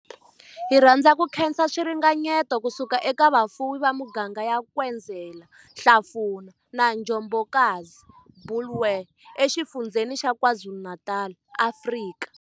Hi rhandza ku khensa swiringanyeto ku suka eka vafuwi va miganga ya Nkwezela, Hlafuna na Njobokazi, Bulwer, eXifundzheni xa KwaZulu-Natal, Afrika.